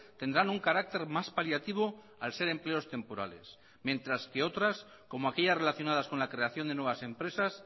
tendrán un carácter más paliativo al ser empleos temporales mientras que otras como aquellas relacionadas con la creación de nuevas empresas